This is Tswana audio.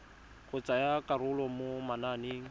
go tsaya karolo mo mananeng